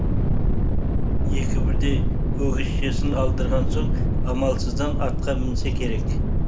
екі бірдей өгізшесін алдырған соң амалсыздан атқа мінсе керек